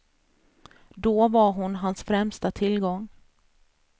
Då var hon hans främsta tillgång.